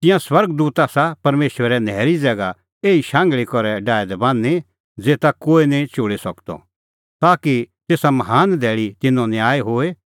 तिंयां स्वर्ग दूत आसा परमेशरै न्हैरी ज़ैगा एही शांघल़ी करै डाहै दै बान्हीं ज़ेता कोहै निं चोल़ी सकदअ ताकि तेसा महान धैल़ी तिन्नों न्याय होए